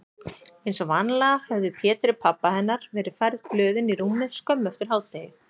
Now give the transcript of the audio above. Einsog vanalega höfðu Pétri, pabba hennar, verið færð blöðin í rúmið skömmu eftir hádegið.